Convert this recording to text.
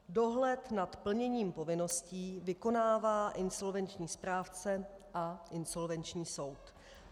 Dohled nad plněním povinností vykonává insolvenční správce a insolvenční soud.